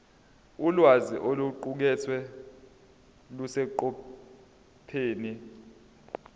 ulwazi oluqukethwe luseqophelweni